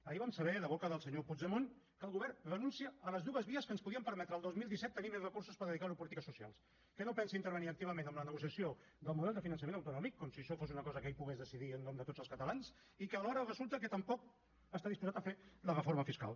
ahir vam saber de boca del senyor puigdemont que el govern renuncia a les dues vies que ens podrien permetre el dos mil disset tenir més recursos per dedicar a polítiques socials que no pensa intervenir activament en la negociació del model del finançament autonòmic com si això fos una cosa que ell pogués decidir en nom de tots els catalans i que alhora resulta que tampoc està disposat a fer la reforma fiscal